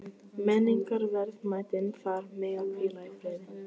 Menningarverðmætin þar mega hvíla í friði.